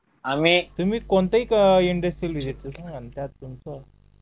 तुम्ही कोणत्या industrial visit दिली